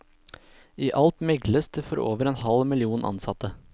I alt megles det for over en halv million ansatte.